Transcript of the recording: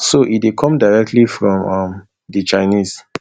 so e dey come directly from um di chinese